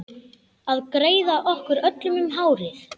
Að greiða okkur öllum hárið.